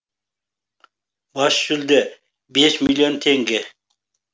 бас жүлде бес миллион теңге